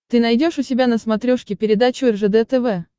ты найдешь у себя на смотрешке передачу ржд тв